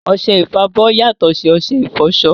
Ọṣẹ ìfọbọ́ yàtọ̀ sí ọṣẹ ìfọṣọ